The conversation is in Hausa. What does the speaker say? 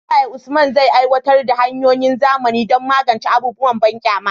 Ta yaya Usman zai aiwatar da hanyoyin zamani don magance abubuwan banƙyama?